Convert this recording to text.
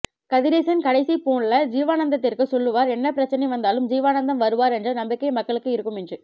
கதிரேசன் கடைசியி போன்ல ஜீவானந்தத்திற்கு சொல்லுவார் என்னபிரச்சனை வந்தாலும் ஜீவானந்தம் வருவார் என்ற நம்பிக்கை மக்களுக்கு இருக்கும் என்று